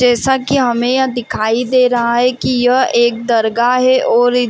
जैसा कि हमें यहां दिखाई दे रहा है कि यह एक दरगाह है और --